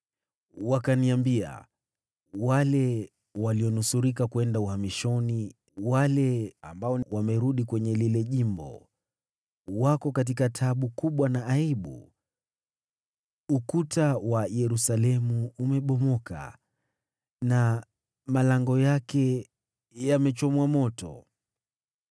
Wakaniambia, “Wale walionusurika kwenda uhamishoni, wale ambao wamerudi kwenye lile jimbo, wako katika taabu kubwa na aibu. Ukuta wa Yerusalemu umebomoka, na malango yake yamechomwa moto.”